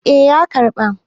eh ya karɓa